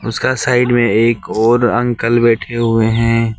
उसका साइड में एक और अंकल बैठे हुए हैं।